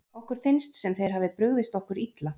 Okkur finnst sem þeir hafi brugðist okkur illa.